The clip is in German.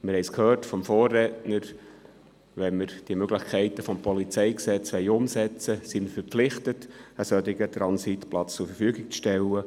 Wir haben es vom Vorredner gehört: Wenn man die Möglichkeiten, die uns das PolG bietet, umsetzen wollen, sind wir verpflichtet, einen solchen Transitplatz zur Verfügung zu stellen.